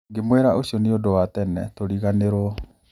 Ngĩmwĩra ũcio nĩ ũndũ wa tene, tũriganĩirũo.